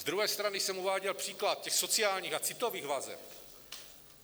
Z druhé strany jsem uváděl příklad těch sociálních a citových vazeb.